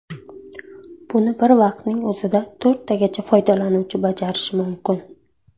Buni bir vaqtning o‘zida to‘rttagacha foydalanuvchi bajarishi mumkin.